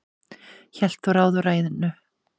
hélt þó ráði og rænu